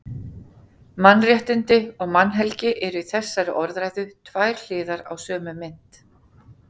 Mannréttindi og mannhelgi eru í þessari orðræðu tvær hliðar á sömu mynt.